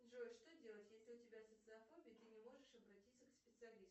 джой что делать если у тебя социофобия ты не можешь обратиться к специалисту